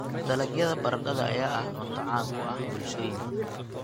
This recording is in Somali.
Dalagyada baradhada ayaa ah cunto caan ka ah bulshooyin badan.